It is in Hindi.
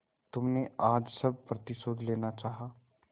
तुमने आज सब प्रतिशोध लेना चाहा